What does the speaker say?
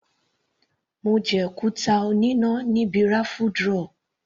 Mo jẹ kúkà oníná níbi raffle draw.